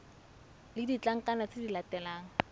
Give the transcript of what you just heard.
le ditlankana tse di latelang